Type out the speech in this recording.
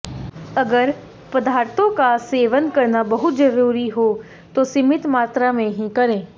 अगर पदार्थों का सेवन करना बहुत जरूरी हो तो सीमित मात्रा में ही करें